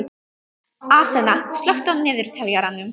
Aþena, slökktu á niðurteljaranum.